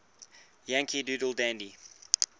yankee doodle dandy